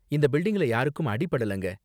இந்த பில்டிங்ல யாருக்கும் அடி படலங்க.